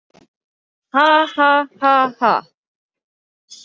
Ha, ha, ha, ha.